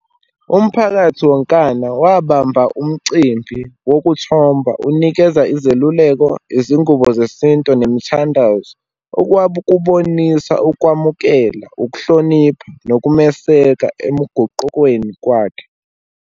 Umphakathi wonkana wabamba umcimbi wokuthi khomba unikeza izeluleko, izingubo zesintu nemithi. Nando's okwabo ukubonisa, ukwamukela, ukuhlonipha nokumeseka emgaqweni kwakhe